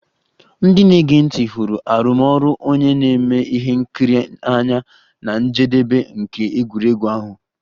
Ndị na-ege ntị hụrụ arụmọrụ onye na-eme ihe nkiri n'anya na njedebe nke egwuregwu ahụ